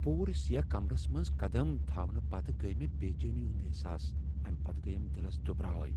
پوٗرٕ سیاہ کمرس منز قدم تھاونہٕ پتہٕ گٔیۍ مےٚ بےٚ چینی ہُند احساس امہِ پتہٕ گٔیَم دِلس دُبراے۔